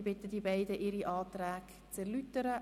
Ich bitte die Antragsteller, ihre Anträge zu erläutern.